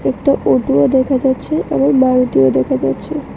একটা অটোও দেখা যাচ্ছে আবার মলটিও দেখা যাচ্ছে।